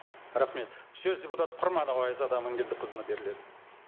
рахмет сөз депутат құрманова айзада аманкелдіқызына беріледі